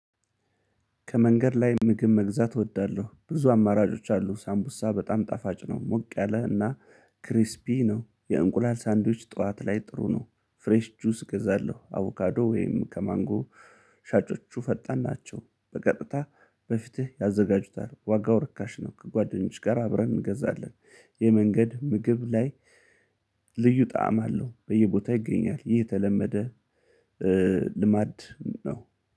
ከመንገድ ላይ ምግብ መግዛት እወዳለሁ ብዙ አማራጮች አሉ ሳምቡሳ በጣም ጣፋጭ ነው። ሞቅ ያለ እና ክሪስፒ ነው የእንቁላል ሳንዱች ጠዋት ላይ ጥሩ ነው። ፍሬሽ ጁስ ገዛለሁ አቮካዶ ወይም ከማንጎ። ሻጮቹ ፈጣን ናቸው በቀጥታ በፊትህ ያዘጋጁታል ዋጋው ርካሽ ነው። ከጓደኞች ጋር አብረን እንገዛለን። የመንገድ ምግብ ላይ ልዩ ጣዕም አለው በየቦታው ይገኛል። ይህ የተለመደ ልማድ ነው